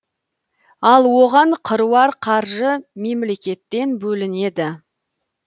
ал оған қыруар қаржы мемлекеттен бөлінеді